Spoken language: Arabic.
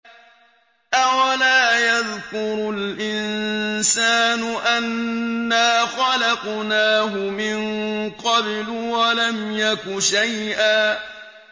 أَوَلَا يَذْكُرُ الْإِنسَانُ أَنَّا خَلَقْنَاهُ مِن قَبْلُ وَلَمْ يَكُ شَيْئًا